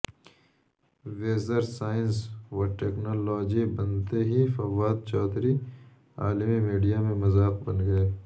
وزیرسائنس وٹیکنالوجی بنتے ہی فوادچوہدری عالمی میڈیامیں مذاق بن گئے